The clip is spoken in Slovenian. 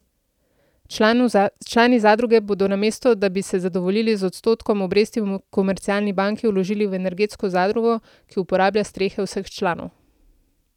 Člani zadruge bodo, namesto da bi se zadovoljili z odstotkom obresti v komercialni banki, vložili v energetsko zadrugo, ki uporablja strehe vseh članov.